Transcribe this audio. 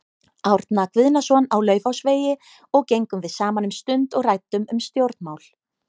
Árna Guðnason á Laufásvegi og gengum við saman um stund og ræddum um stjórnmál.